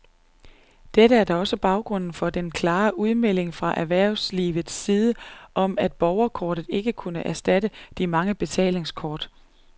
Dette er da også baggrunden for den klare udmelding fra erhvervslivets side om, at borgerkortet ikke vil kunne erstatte de mange betalingskort.